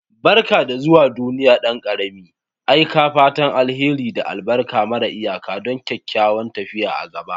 Barka da zuwa duniya, dan ƙarami! Aika fatan alheri da albarka mara iyaka don kyakkyawan tafiya a gaba.